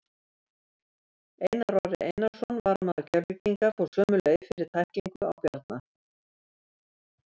Einar Orri Einarsson, varamaður Keflvíkinga, fór svo sömu leið fyrir tæklingu á Bjarna.